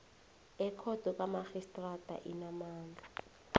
ekhotho kamarhistrada enamandla